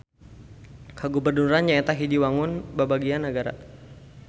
Kagubernuran nyaeta hiji wangun babagian nagara.